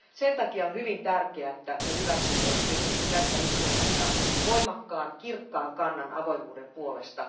Sen takia on hyvin tärkeää, että me hyväksymme tässä istunnossa voimakkaan, kirkkaan kannan avoimuuden puolesta.